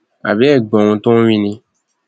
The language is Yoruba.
a bẹ ẹ gbóhun tó wí ni